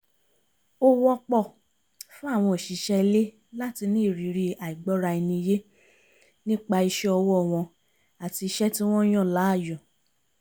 ó wọ́pọ̀ fún àwọn òṣìṣẹ́ ilé láti ní ìrírí àìgbọ́ra-ẹni-yé nípa iṣẹ́ ọwọ́ wọn àti iṣẹ́ tí wọ́n yàn láàyò